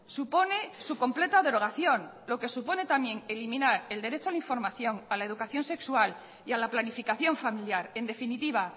supone su completa derogación lo que supone también eliminar el derecho a la información a la educación sexual y a la planificación familiar en definitiva